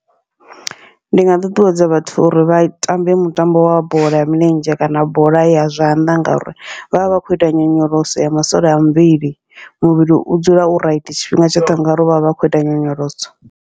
Ndi nga ṱuṱuwedza vhathu uri vha tambe mutambo wa bola ya milenzhe kana bola ya zwanḓa, ngauri vhavha vha khou ita nyonyoloso ya masole a muvhili. Muvhili u dzula u raiti tshifhinga tshoṱhe ngauri vha vha vha khou ita nyonyoloso.